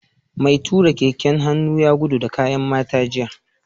Mai tura keken hannu ya gudu da kayan mata jiya